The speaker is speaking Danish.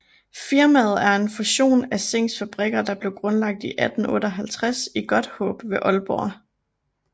Firmaet er en fusion af Zincks fabrikker der blev grundlagt i 1858 i Godthaab ved Ålborg